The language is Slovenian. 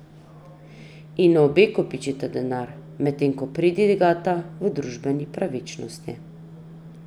In obe kopičita denar, medtem ko pridigata o družbeni pravičnosti.